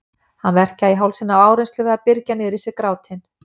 Hann verkjaði í hálsinn af áreynslu við að byrgja niður í sér grátinn.